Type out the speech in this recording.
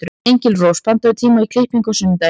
Engilrós, pantaðu tíma í klippingu á sunnudaginn.